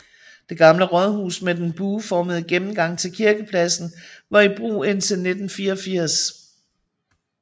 Det gamle rådhus med den bueformede gennemgang til kirkepladsen var i brug indtil 1984